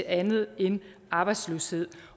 andet end arbejdsløshed